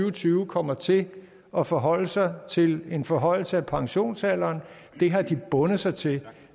og tyve kommer til at forholde sig til en forhøjelse af pensionsalderen det har de bundet sig til